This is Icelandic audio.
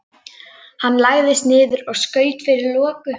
Hann lagðist niður og skaut fyrir loku.